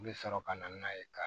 U bɛ sɔrɔ ka na n'a ye ka